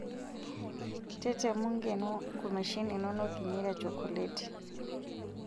Tetemu nkeno nkumeshin inonok inyeita chokoleti.